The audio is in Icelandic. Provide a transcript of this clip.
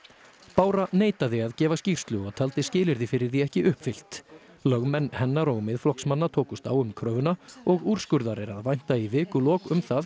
bára neitaði að gefa skýrslu og taldi skilyrði fyrir því ekki uppfyllt lögmenn hennar og Miðflokksmanna tókust á um kröfuna og úrskurðar er að vænta í vikulok um það